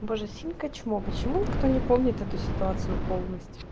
боже синька чмо почему никто не помнит эту ситуацию полностью